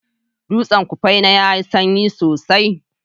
Dutsen kufena yayi sanyi sosai